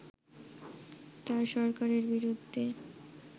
তার সরকারের বিরুদ্ধে